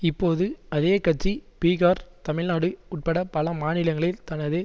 இப்போது அதே கட்சி பீஹார் தமிழ்நாடு உட்பட பல மாநிலங்களில் தனது